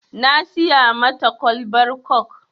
Na siya mata kwalbar kok